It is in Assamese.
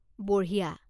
বঢ়িয়া।